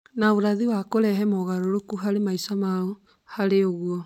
na ũraithi na kũrehe mogarũrũku harĩ maica mao. Harĩ ũguo,